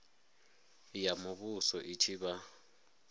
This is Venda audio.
ya muvhuso i tshi vha